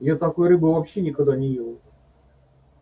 я такой рыбы вообще никогда не ел